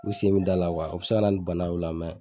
I sen min da la wa o bi se kana ni bana ye o la